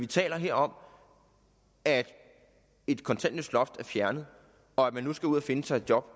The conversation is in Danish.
taler vi om at et kontanthjælpsloft er fjernet og at man nu skal ud at finde sig et job